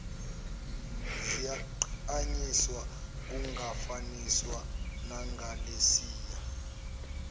ziyagqanyiswa kungafaniswa nangalesiya